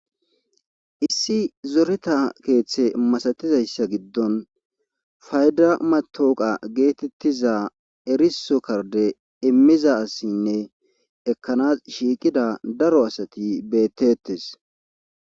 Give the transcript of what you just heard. Issi zoreta keeththe masatizayssa giddon fayda matooqa geetettiza eriso karde immiza asinne ekkanas shiiqida daro asati beettettes.